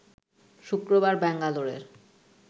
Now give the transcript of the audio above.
শুক্রবার ব্যাঙ্গালোরের